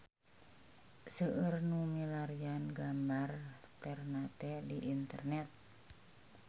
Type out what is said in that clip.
Seueur nu milarian gambar Ternate di internet